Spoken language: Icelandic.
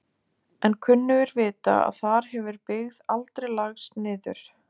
En kunnugir vita að þar hefur byggð aldrei lagst niður.